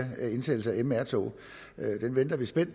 indsat mr tog